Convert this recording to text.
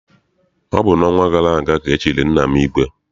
Ọ bụ n'ọnwa gara aga ka e chiri nna m ìgwè.